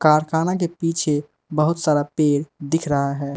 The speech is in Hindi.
कारखाना के पीछे बहुत सारा पेड़ दिख रहा है।